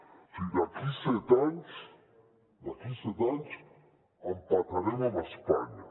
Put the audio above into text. o sigui d’aquí set anys d’aquí set anys empatarem amb espanya